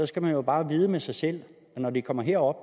skal man jo bare vide med sig selv at når de kommer herop